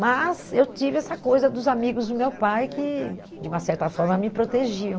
Mas eu tive essa coisa dos amigos do meu pai que, de uma certa forma, me protegiam.